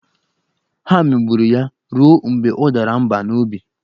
Ha megburu ya ruo mgbe ọ dara mba n'obi.